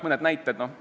Mõni näide.